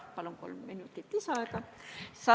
Palun kolm minutit lisaaega!